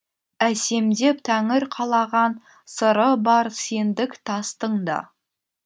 әсемдеп тәңір қалаған сыры бар сендік тастың да